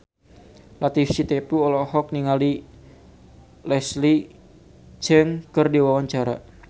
Latief Sitepu olohok ningali Leslie Cheung keur diwawancara